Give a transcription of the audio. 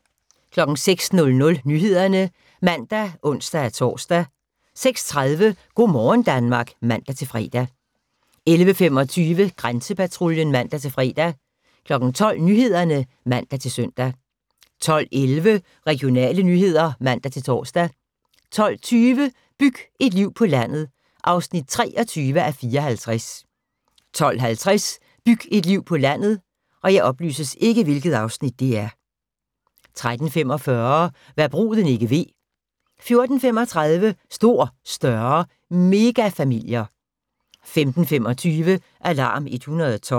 06:00: Nyhederne (man og ons-tor) 06:30: Go' morgen Danmark (man-fre) 11:25: Grænsepatruljen (man-fre) 12:00: Nyhederne (man-søn) 12:11: Regionale nyheder (man-tor) 12:20: Byg et liv på landet (23:54) 12:50: Byg et liv på landet 13:45: Hva' bruden ikke ved 14:35: Stor, større – megafamilier 15:25: Alarm 112